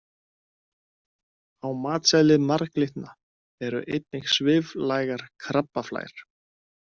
Á matseðli marglyttna eru einnig sviflægar krabbaflær.